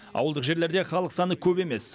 ауылдық жерлерде халық саны көп емес